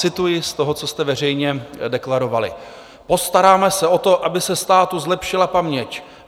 Cituji z toho, co jste veřejně deklarovali: "Postaráme se o to, aby se státu zlepšila paměť.